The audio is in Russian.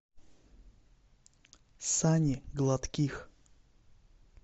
сани гладких